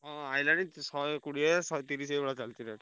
ହଁ ଆଇଲାଣି ଶହେ କୋଡିଏ ଶହେ ତିରିଶି ଏଇଭଳିଆ ଚାଲିଛି rate ।